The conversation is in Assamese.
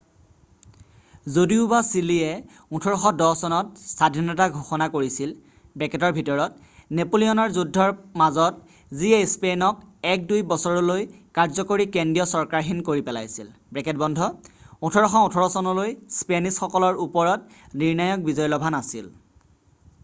যদিওবা চিলিয়ে 1810 চনত স্বাধীনতা ঘোষণা কৰিছিলনেপোলিয়নৰ যুদ্ধৰ মাজত যিয়ে স্পেইনক এক -দুই বছৰলৈ কাৰ্য্যকৰী কেন্দ্ৰীয় চৰকাৰহীন কৰি পেলাইছিল,1818চনলৈ স্পেনিছসকলৰ ওপৰত নিৰ্ণায়ক বিজয় লভা নাছিল।